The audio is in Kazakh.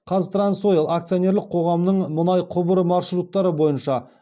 қазтрансойл акционерлік қоғамының мұнай құбыры маршруттары бойынша